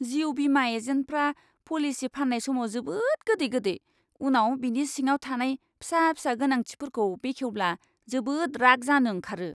जिउ बीमा एजेन्टफ्रा पलिसि फाननाय समाव जोबोद गोदै गोदै, उनाव बिनि सिङाव थानाय फिसा फिसा गोनांथिफोरखौ बेखेवब्ला जोबोद राग जानो ओंखारो!